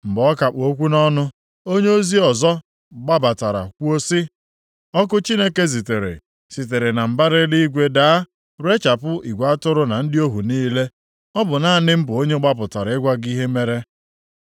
Mgbe ọ ka kpụ okwu nʼọnụ, onyeozi ọzọ gbabatara kwuo sị, “Ọkụ Chineke zitere sitere na mbara eluigwe daa rechapụ igwe atụrụ na ndị ohu niile. Ọ bụ naanị m bụ onye gbapụtara ịgwa gị ihe mere.”